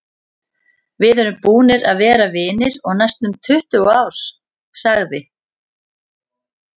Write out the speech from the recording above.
Við erum búnir að vera vinir í næstum tuttugu ár, sagði